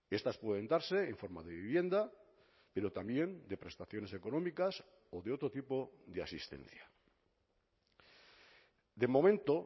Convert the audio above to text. estas pueden darse en forma de vivienda pero también de prestaciones económicas o de otro tipo de asistencia de momento